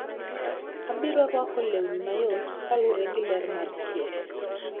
Abiro rwako lewni mayot kalure gi ger mar chieng`.